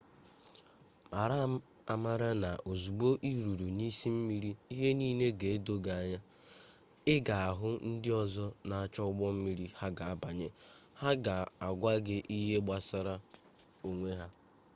mara amara n'ozugbo iruru n'isi mmiri ihe niile ga-edo gi anya i ga ahu ndi ozo n'acho ugbo mmiri ha ga banye ha ga-agwa gi ihe gbasara onwe ha